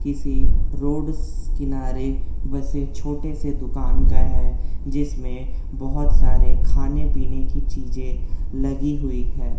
किसी रोड से किनारे बसे छोटे से दुकान का है जिसमें बहोत सारे खाने पीने की चीजे लगी हुई है।